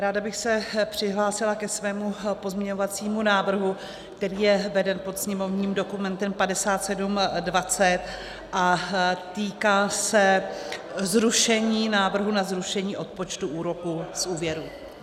Ráda bych se přihlásila ke svému pozměňovacímu návrhu, který je veden pod sněmovním dokumentem 5720 a týká se zrušení návrhu na zrušení odpočtu úroku z úvěru.